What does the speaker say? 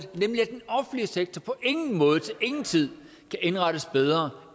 sektor på ingen måde til ingen tid kan indrettes bedre